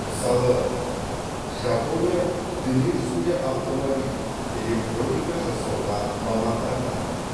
мысалы жапония дүние жүзінде автомобиль электроника жасауға маманданған